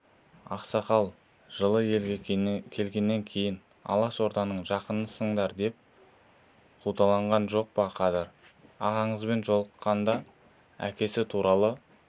ақсақал жылы елге келгеннен кейін алашорданың жақынысыңдар деп қудалаған жоқ па қадыр ағаңызбен жолыққанда әкесі туралы